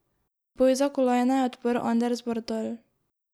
Boj za kolajne je odprl Anders Bardal.